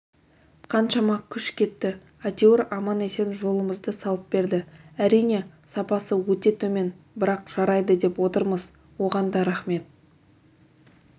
қаншама күш кетті әйтеуір аман-есен жолымызды салып берді әрине сапасы өте төмен бірақ жарайды деп отырмыз оған да рахмет